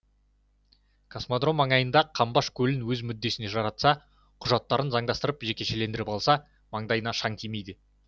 космодром маңайындағы қамбаш көлін өз мүддесіне жаратса құжаттарын заңдастырып жекешелендіріп алса маңдайына шаң тимейді